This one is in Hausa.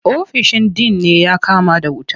Ofishin din ne ya kama da wuta.